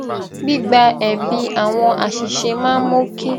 gbígba ẹbi àwọn àṣìṣe máa ń mú kí